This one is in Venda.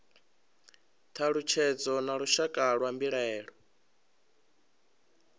thalutshedzo na lushaka lwa mbilaelo